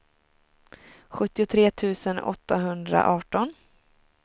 sjuttiotre tusen åttahundraarton